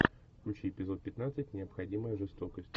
включи эпизод пятнадцать необходимая жестокость